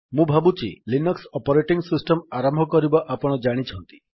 ମୁଁ ଭାବୁଛି Linux operating system ଆରମ୍ଭ କରିବା ଆପଣ ଜାଣିଛନ୍ତି